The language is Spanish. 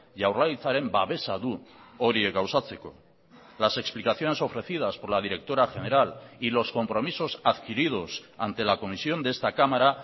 jaurlaritzaren babesa du horiek gauzatzeko las explicaciones ofrecidas por la directora general y los compromisos adquiridos ante la comisión de esta cámara